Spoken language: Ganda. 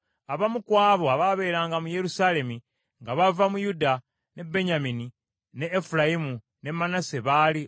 Abamu ku abo abaabeeranga mu Yerusaalemi nga bava mu Yuda, ne Benyamini, ne Efulayimu ne Manase baali: